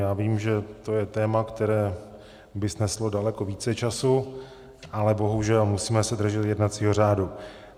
Já vím, že to je téma, které by sneslo daleko více času, ale bohužel, musíme se držet jednacího řádu.